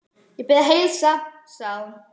Ég bið að heilsa, sagði hún.